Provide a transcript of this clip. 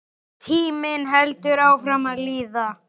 Tíminn heldur áfram að líða.